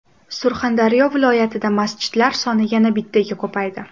Surxondaryo viloyatida masjidlar soni yana bittaga ko‘paydi.